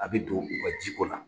A bɛ don u ka jiko la.